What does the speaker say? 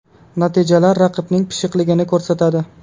Natijalar raqibning pishiqligini ko‘rsatadi.